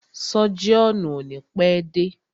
Sọ́jíọ̀nù o ni pẹ́ dé.